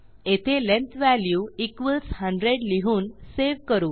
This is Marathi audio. येथे लेंग्थ वॅल्यू 100लिहून सेव्ह करू